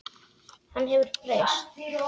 Hann hefur breyst.